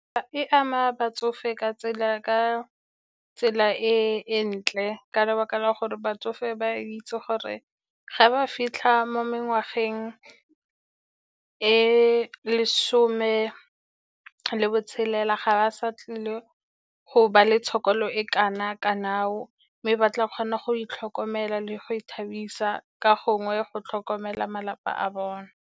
E ama batsofe ka tsela e ntle, ka lebaka la gore batsofe ba aitse gore ga ba fitlha mo mengwageng e lesome le bo tshelela, ga ba sa tlile go ba le tshokolo e kana-kana mme, ba tla kgona go itlhokomela le go ithabisa ka gongwe, go tlhokomela malapa a bone.